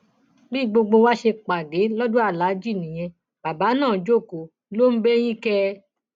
bí gbogbo wa ṣe pàdé lọdọ aláàjì nìyẹn bàbá náà jókòó ló ń bẹyìn kẹẹ